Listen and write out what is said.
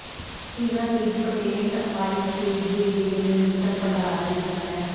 ਸਿਨਰ ਲਿੱਗ patent IKEA ਦੇ ਨਵੀਨਤਮ ਭੰਡਾਰ ਦਾ ਹਿੱਸਾ ਹੈ